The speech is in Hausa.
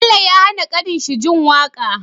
Bello ya hAna kanin shi jin waƙa